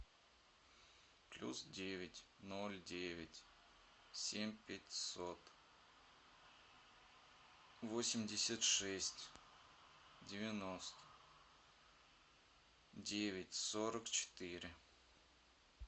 плюс девять ноль девять семь пятьсот восемьдесят шесть девяносто девять сорок четыре